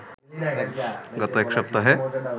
গত এক সপ্তাহে